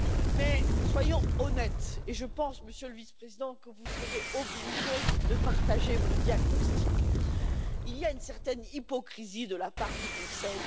Mais soyons honnêtes, et je pense, Monsieur le Vice président, que vous serez obligé de partager mon diagnostic il y a une certaine hypocrisie de la part du Conseil.